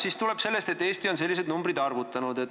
See tuleb sellest, et Eesti on sellised numbrid välja arvutanud.